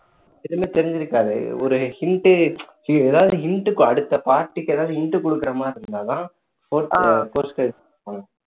எதுவுமே தெரிஞ்சிருக்காது ஒரு hint டே ச்சி ஏதாவது hint அடுத்த part க்கு ஏதாவது hint கொடுக்கிற மாதிரி இருந்தா தான் post credit போடுவாங்க